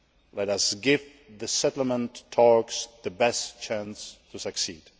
Let us give the settlement talks the best chance to succeed.